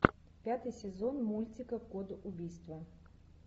пятый сезон мультика код убийства